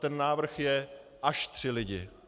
Ten návrh je až tři lidi.